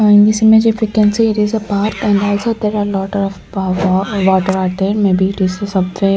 and this image if you can see it is a park and also there are lot of water are there maybe it is a --